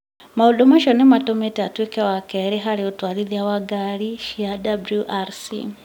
Maũndũ macio nĩ mamũtũmĩte atuĩke wa kerĩ harĩ atwarithia a ngari cia WRC,